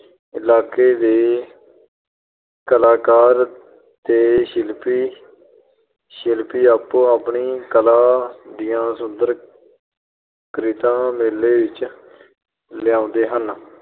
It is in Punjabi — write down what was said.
ਇਲਾਕੇ ਦੇ ਕਲਾਕਾਰ ਤੇ ਸ਼ਿਲਪੀ ਅਹ ਸ਼ਿਲਪੀ ਆਪੋ-ਆਪਣੀ ਕਲਾ ਦੀਆਂ ਸੁੰਦਰ ਕ੍ਰਿਤਾਂ ਮੇਲੇ ਵਿੱਚ ਲਿਆਉਂਦੇ ਹਨ।